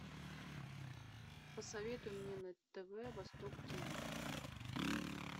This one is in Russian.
посоветуй мне на тв восток тиви